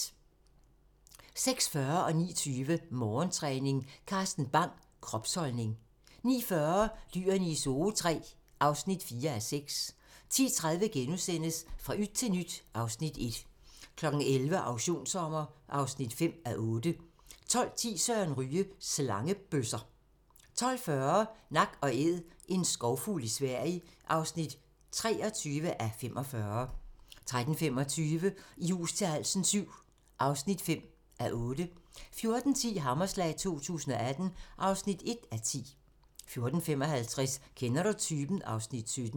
06:40: Morgentræning: Carsten Bang - kropsholdning 09:20: Morgentræning: Carsten Bang - kropsholdning 09:40: Dyrene i Zoo III (4:6) 10:30: Fra yt til nyt (Afs. 1)* 11:00: Auktionssommer (5:8) 12:10: Søren Ryge: Slangebøsser 12:40: Nak & Æd - en skovfugl i Sverige (23:45) 13:25: I hus til halsen VII (5:8) 14:10: Hammerslag 2018 (1:10) 14:55: Kender du typen? (Afs. 17)